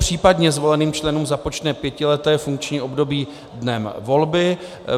Případně zvoleným členům započne pětileté funkční období dnem volby.